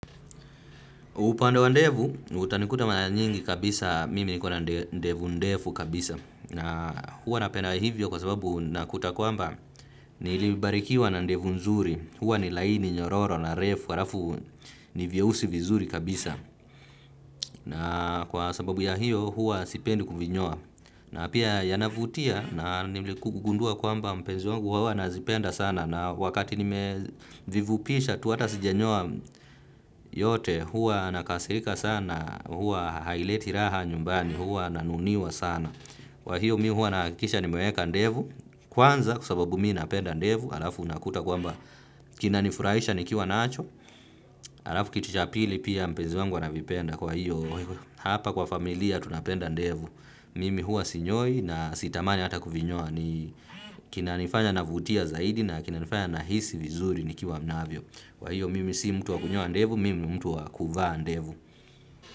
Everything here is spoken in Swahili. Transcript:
Upande wa ndevu, utanikuta mara nyingi kabisa, mimi nikona ndevu ndefu kabisa. Na huwa napenda hivyo kwa sababu nakuta kwamba nilibarikiwa na ndevu nzuri. Huwa ni laini, nyororo, na refu, halafu ni vyeusi vizuri kabisa. Na kwa sababu ya hiyo huwa sipendi kuvinyoa. Na pia yanavutia na niligundua kwamba mpenzi wangu huwa anazipenda sana. Na wakati nime vivupisha tu hata sijenyoa yote, huwa anakasirika sana, huwa haileti raha nyumbani, huwa nanuniwa sana. Kwa hiyo mi huwa nakisha nimeweka ndevu kwanza kwa sababu mimi napenda ndevu alafu unakuta kwamba kinanifuraisha nikiwa nacho. Halafu kitu cha pili pia mpezi wangu anavipenda kwa hiyo hapa kwa familia tunapenda ndevu. Mimi huwa sinyoi na sitamani hata kuvinyoa. Kinanifanya navutia zaidi na kinanifanya nahisi vizuri nikiwa navyo. Kwa hiyo mimi si mtu wa kunyoa ndevu, mimi ni mtu wa kuvaa ndevu.